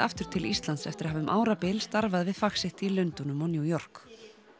til Íslands eftir að hafa um árabil starfað við fag sitt í Lundúnum og New York